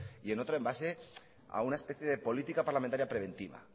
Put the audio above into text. y en otras en base a una especie de política parlamentaria preventiva